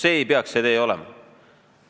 See ei tohiks meie tee olla.